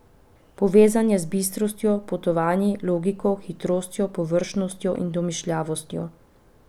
Povezan je z bistrostjo, potovanji, logiko, hitrostjo, površnostjo in domišljavostjo.